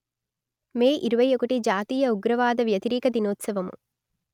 మే ఇరవై ఒకటి జాతీయ ఉగ్రవాద వ్యతిరేక దినోత్సవము